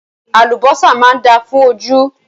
Àlùbọ́sà máa dáa fún ojú.